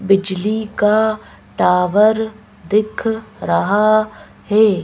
बिजली का टावर दिख रहा है।